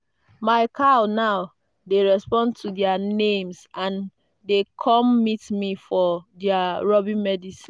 my cow now dey respond to their names and dey come meet me for their rubbing medicine.